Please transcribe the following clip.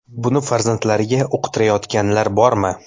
Buni farzandlariga uqtirayotganlar bormi?